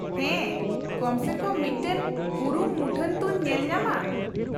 -ᱦᱮᱸ, ᱠᱚᱢ ᱥᱮ ᱠᱚᱢ ᱢᱤᱫᱴᱟᱝ ᱩᱨᱩᱢ ᱢᱩᱴᱷᱟᱹᱱ ᱛᱚᱧ ᱧᱮᱞ ᱧᱟᱢᱟ ᱾